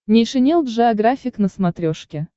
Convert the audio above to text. нейшенел джеографик на смотрешке